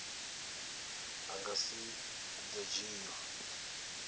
a nga si do dzhiiwa